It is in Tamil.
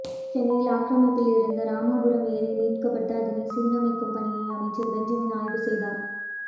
சென்னையில் ஆக்கிரமிப்பில் இருந்த ராமாபுரம் ஏரி மீட்கப்பட்டு அதனை சீரமைக்கும் பணியை அமைச்சர் பெஞ்சமின் ஆய்வு செய்தார்